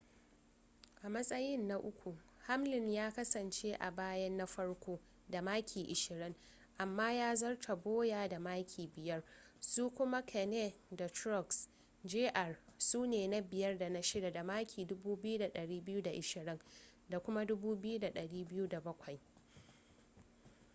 a matsayin na uku hamlin ya kasance a bayan na farko da maki ashirin amma ya zarta bowyer da maki biyar su kuma kahne da truex jr su ne na biyar da na shida da maki 2,220 da kuma 2,207